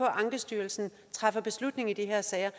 ankestyrelsen træffer beslutning i de her sager